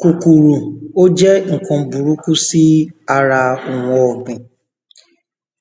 kòkòrò ó jẹ́ ǹkan búrukú sí ara oun ọ̀gbìn